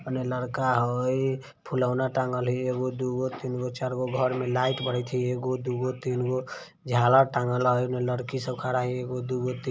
ओने लड़का हई। फूलौना टाँगल हइ एगो दुगो तीनगो चारगो घर मे लाइट बरत हई एगो दुगो तीनगो झालर टंगल हई ओही में लड़की सब खाडा हई एगो दुगो ती---